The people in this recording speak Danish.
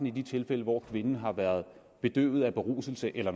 i de tilfælde hvor kvinden har været bedøvet af beruselse eller